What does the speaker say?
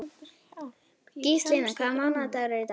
Gíslína, hvaða mánaðardagur er í dag?